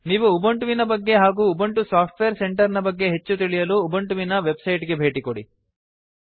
ನೀವು ಉಬಂಟುವಿನ ಬಗ್ಗೆ ಹಾಗೂ ಉಬಂಟು ಸಾಫ್ಟ್ವೇರ್ ಸೆಂಟರ್ ನ ಬಗ್ಗೆ ಹೆಚ್ಚು ತಿಳಿಯಲು ಉಬಂಟುವಿನ ವೆಬ್ಸೈಟ್ ಗೆ ಭೇಟಿಕೊಡಿ